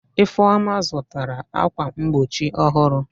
Ifeoma zutara akwa mgbochi ohuru.